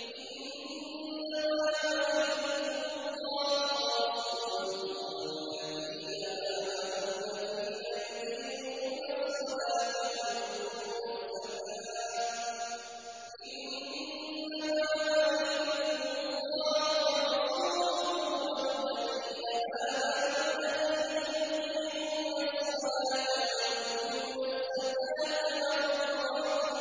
إِنَّمَا وَلِيُّكُمُ اللَّهُ وَرَسُولُهُ وَالَّذِينَ آمَنُوا الَّذِينَ يُقِيمُونَ الصَّلَاةَ وَيُؤْتُونَ الزَّكَاةَ